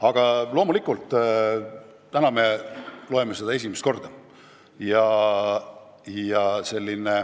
Aga loomulikult, täna me loeme seda esimest korda.